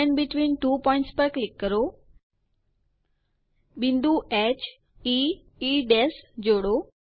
segment between two points પર click કરો બિંદુ heઇ જોડો